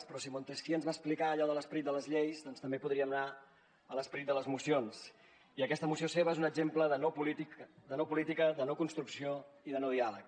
però si montesquieu ens va explicar allò de l’esperit de les lleis doncs també podríem anar a l’esperit de les mocions i aquesta moció seva és un exemple de no política de no construcció i de no diàleg